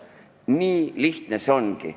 Nii lihtne see ongi.